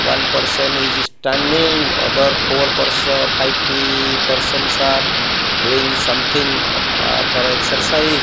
one person is standing other four person five persons are doing something for exercise.